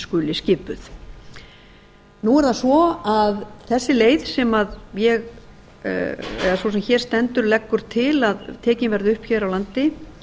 skuli skipuð nú er það svo að þessi leið sem sú sem hér stendur leggur til að tekin verði upp hér á landi